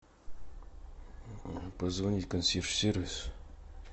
позвонить в консьерж сервис